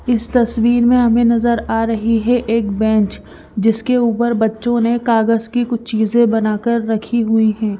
इस तस्वीर में हमें नज़र आ रही है एक बेंच जिसके ऊपर बच्चों ने कागज़ की कुछ चीज़ें बनाकर रखी हुई हैं।